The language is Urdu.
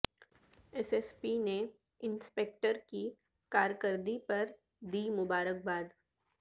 ایس ایس پی نے انسپکٹر کی کارکردگی پردی مبارک باد